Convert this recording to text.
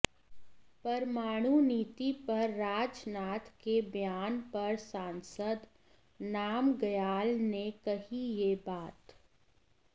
परमाणु नीति पर राजनाथ के बयान पर सांसद नामग्याल ने कही ये बात